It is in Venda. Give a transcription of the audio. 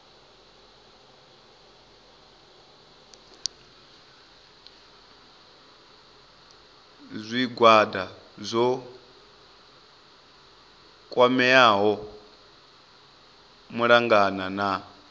zwigwada zwo kwameaho malugana na